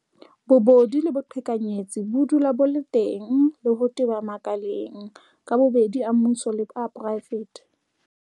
Bobodu le boqhekanyetsi bo dula bo le teng le ho teba makaleng ka bobedi a mmuso le a poraefete.